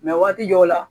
waati dɔw la